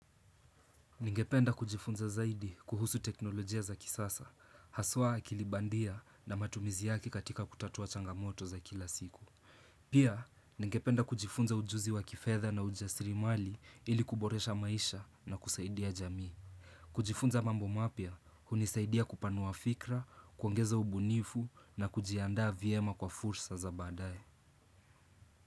Ningependa kujifunza zaidi kuhusu teknolojia za kisasa, haswaa kilibandia na matumizi yake katika kutatua changamoto za kila siku. Pia, ningependa kujifunza ujuzi wa kifedha na ujasirimali ili kuboresha maisha na kusaidia jamii. Kujifunza mambo mapya, hunisaidia kupanua fikra, kuongeza ubunifu na kujiandaa vyema kwa fursa za badae.